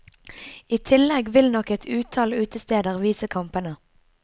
I tillegg vil nok et utall utesteder vise kampene.